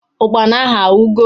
Ụkpana ahu awugo?